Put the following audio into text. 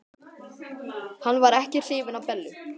Hann var ekki hrifinn af Bellu.